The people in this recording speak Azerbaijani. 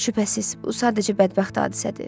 Şübhəsiz, bu sadəcə bədbəxt hadisədir.